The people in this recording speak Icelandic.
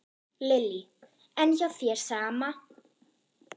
Lillý: En hjá þér, sama?